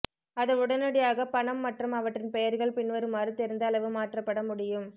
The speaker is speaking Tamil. அது உடனடியாக பணம் மற்றும் அவற்றின் பெயர்கள் பின்வருமாறு தெரிந்த அளவு மாற்றப்பட முடியும்